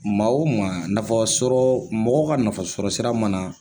Maa o maa nafa sɔrɔ mɔgɔ ka nafa sɔ sira mana